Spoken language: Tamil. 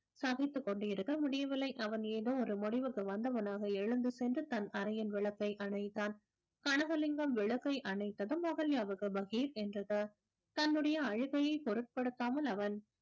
சகித்துக் கொண்டு இருக்க முடியவில்லை அவன் ஏதோ ஒரு முடிவுக்கு வந்தவனாக எழுந்து சென்று தன் அறையின் விளக்கை அணைத்தான் கனகலிங்கம் விளக்கை அணைத்தது அகல்யாவுக்கு பகீர் என்றது தன்னுடைய அழுகையை பொருட்படுத்தாமல் அவன்